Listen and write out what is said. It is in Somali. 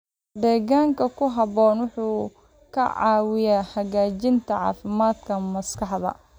Deegaan ku habboon wuxuu ka caawiyaa hagaajinta caafimaadka maskaxda.